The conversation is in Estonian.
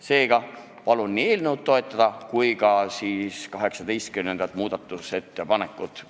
Seega palun toetada nii eelnõu kui ka 18. muudatusettepanekut.